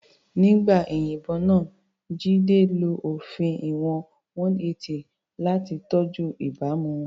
Nígbà ìyìnbọn náà, Jide lo òfin ìwọ̀n 180 láti tọ́jú ìbámu.